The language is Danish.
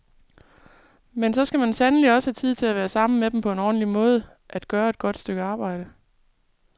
Men så skal man sandelig også have tid til at være sammen med dem på en ordentlig måde, at gøre et godt stykke arbejde.